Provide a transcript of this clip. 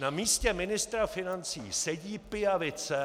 Na místě ministra financí sedí pijavice -